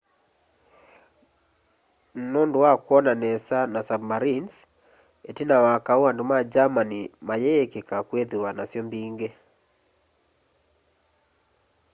nundu wa kwona nesa na submarinezi itina wa kaũ andu ma germani mayiikika kwithiwa nasyo mbingi